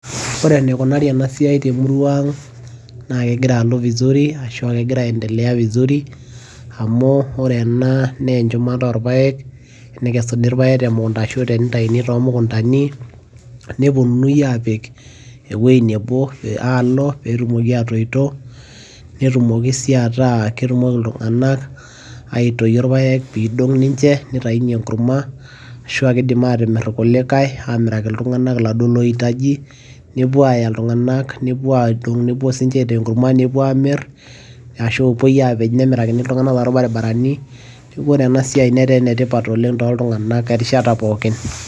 ore eneikunari ena siai temurua ang' naa kegira alo vizurivashu aa kegira aendelea vizuri. amu ore ena naa enchumata oorpaek, nekesuni irpaek temukunta ashu too mukuntani, nepuonunui aapik ewuei neboa ashu nepuonunui aalo. pee etumoki aatoito, netumoki sii aku ketumoki iltunganak aitoyio irpaek, pee eidong' ninche, nitayunye enkurama, ashu aaa kidim aatimir irkulikae, aamiraki iltunganak iladuoo loitaji, nepuo aaaya iltunganak nepuo aitaa enkurma nepuo aamir ashu, epuoi aapej nemirakini iltunganak tolbaribarani. neku ore ena siai netaa ene tipat erishata pookin.